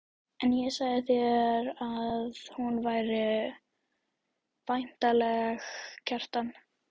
En ég sagði þér að hún væri væntanleg, Kjartan.